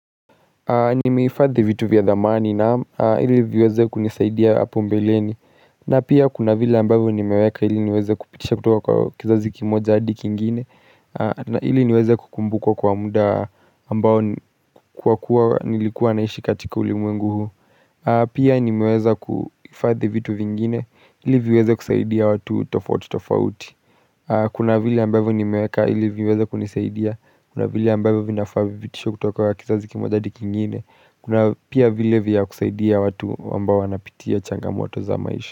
Ni meifadhi vitu vya dhamani na ili viweze kunisaidia apo mbeleni na pia kuna vile ambavyo ni meweka ili niweze kupitisha kutoka kwa kizazi kimoja hadi kingine na ili niweze kukumbukwa kwa muda ambao kuwa kuwa nilikuwa naishi katika uli mwengu huu Pia ni meweza kuhifadhi vitu vingine ili viweze kusaidia watu tofauti tofauti Kuna vile ambavyo ni meweka ili viweze kunisaidia Kuna vile ambavyo vinafavyo vinafavitisha kutoka kwa kizazi kimojadi kingine Kuna pia vile vya kusaidia watu wambao wanapitia changamoto za maisha.